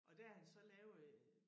Der har han så lavet et